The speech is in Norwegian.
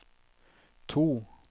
to